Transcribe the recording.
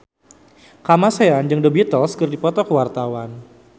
Kamasean jeung The Beatles keur dipoto ku wartawan